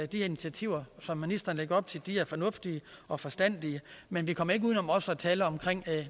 de initiativer som ministeren lægger op til er fornuftige og forstandige men vi kommer ikke uden om også at tale om